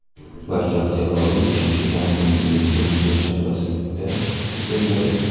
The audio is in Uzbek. balki oktyabr oyi uchinchi o‘n kunligining birinchi yakshanbasida o‘tkaziladi.